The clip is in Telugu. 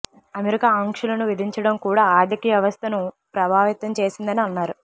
అమెరికా ఆంక్షలను విధించడం కూడా ఆర్థిక వ్యవస్థను ప్రభావితం చేసిందని అన్నారు